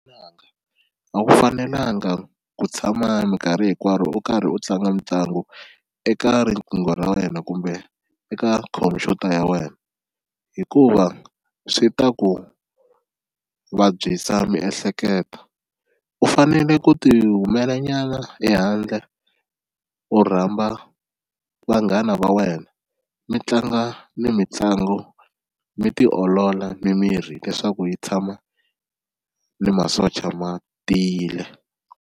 N'wananga a wu fanelanga ku tshama minkarhi hinkwaro u karhi u tlanga mitlangu eka riqingho ra wena kumbe eka khompyuta ya wena hikuva swi ta ku vabyisa miehleketo, u fanele ku ti humela nyana ehandle u rhamba vanghana va wena mi tlanga ni mitlango mi tiolola mimiri leswaku yi tshama ni masocha ma tiyile.